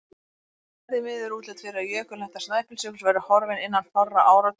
Það er því miður útlit fyrir að jökulhetta Snæfellsjökuls verði horfin innan fárra áratuga.